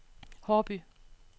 Haarby